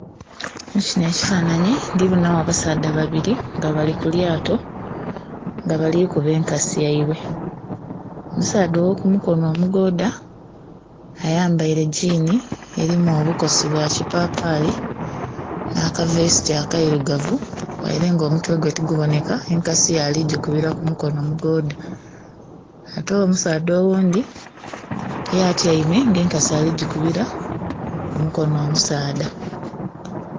Mu kinho ekifananhi ndhi bonha gho abasaadha babiri nga bali ku lyato nga bali kuba enkasi yaibwe, omusaadha ogho ku mukonho omugodha ayambaire gyiini erimu obukosi bwa kipapali nha kavesiti akeirugavu, ghaile nga omutwe gwe tigubonheka enkasi ye ali gikubira ku mukonho omugodha ate omusaadha oghundhi ye atyaime nga enkasi ali gikubira ku mukonho omusaadha.